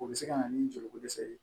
O bɛ se ka na ni joliko dɛsɛ ye